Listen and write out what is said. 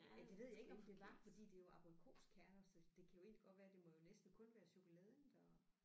Ja det ved jeg ikke om det var fordi det er jo abrikoskerner så det kan jo egentlig godt være det må jo næsten kun være chokoladen der